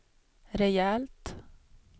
rejält